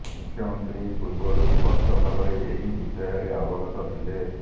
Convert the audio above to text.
ମୁଖ୍ୟମନ୍ତ୍ରୀ ପୂର୍ବରୁ ସ୍ପଷ୍ଟ ଭାବରେ ଏହି ବିଷୟରେ ଅବଗତ ଥିଲେ